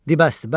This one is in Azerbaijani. Dibəsdir, bəsdir.